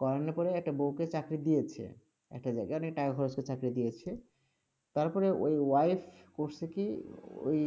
করানোর পরে একটা বউকে চাকরি দিয়েছে, একটা জায়গায়, অনেক টাকা খরচ করে চাকরি দিয়েছে, তারপরে ঐ wife করসে কি, ওই